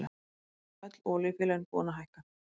Öll olíufélögin búin að hækka